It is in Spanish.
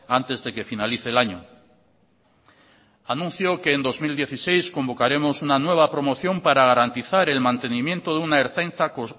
antes de que finalice el año anuncio que en dos mil dieciséis convocaremos una nueva promoción para garantizar el mantenimiento de una ertzaintza